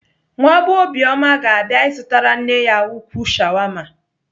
Nwa bee Obioma ga-abịa ịzụtara nne ya ukwuu shawama.